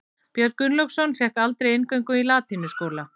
Björn Gunnlaugsson fékk aldrei inngöngu í latínuskóla.